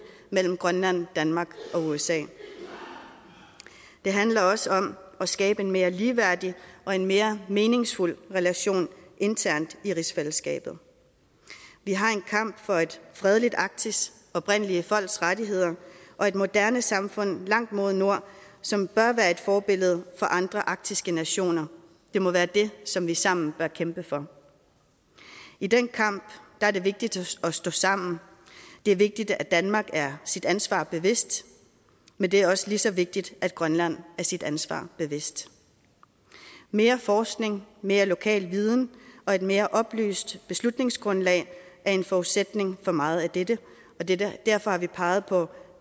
mellem grønland danmark og usa det handler også om at skabe en mere ligeværdig og en mere meningsfuld relation internt i rigsfællesskabet vi har en kamp for et fredeligt arktis oprindelige folks rettigheder og et moderne samfund langt mod nord som bør være et forbillede for andre arktiske nationer det må være det som vi sammen bør kæmpe for i den kamp er det vigtigt at stå sammen det er vigtigt at danmark er sit ansvar bevidst men det er også lige så vigtigt at grønland er sit ansvar bevidst mere forskning mere lokal viden og et mere oplyst beslutningsgrundlag er en forudsætning for meget af dette dette og derfor har vi peget på